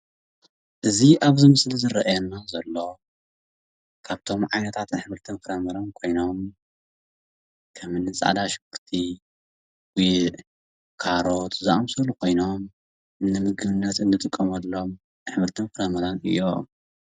እዚ ኣብ እዚ ምስሊ እርኣየና ዘሎ ካብቶም ዓይነታት ኣሕምልቲን ፍረምረን ኮይኖም ከምኒ ፃዕዳ ሽጉርቲ፣ ጉዕ ፣ካሮት ዝኣምሰሉ ካይኖም ንምግብነት እንጥቀመሎም ኣሕምልቲን ፍረምረን እዮም።